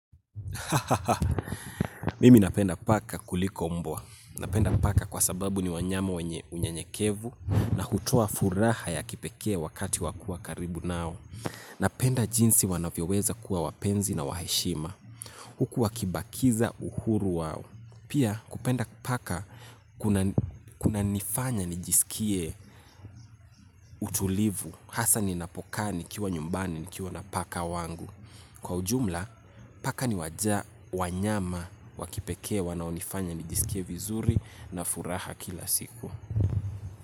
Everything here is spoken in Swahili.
Mimi napenda paka kuliko mbwa. Napenda paka kwa sababu ni wanyama wenye unyenyekevu. Na hutoa furaha ya kipekee wakati wa kuwa karibu nao. Napenda jinsi wanavyo weza kuwa wapenzi na wa heshima. Huku waki bakiza uhuru wao. Pia kupenda paka kuna nifanya nijisikie utulivu. Hasaa ni ninapo kaa nikiwa nyumbani nikiwa na paka wangu. Kwa ujumla, paka ni wanyama wa kipekee wanaonifanya nijiskie vizuri na furaha kila siku.